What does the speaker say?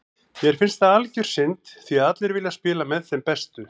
Mér finnst það algjör synd því allir vilja spila með þeim bestu.